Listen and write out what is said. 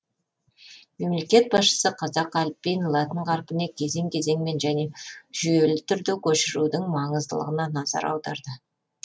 мемлекет басшысы қазақ әліпбиін латын қарпіне кезең кезеңмен және жүйелі түрде көшірудің маңыздылығына назар аударды